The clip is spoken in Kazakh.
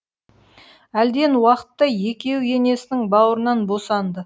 әлден уақытта екеуі енесінің бауырынан босанды